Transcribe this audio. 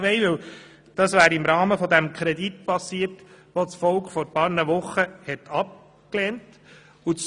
Dies wäre im Rahmen des Kredits geschehen, den das Volk vor ein paar Wochen abgelehnt hat.